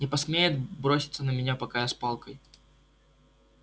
не посмеет броситься на меня пока я с палкой